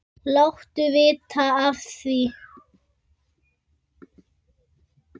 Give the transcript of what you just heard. Láttu vita af því.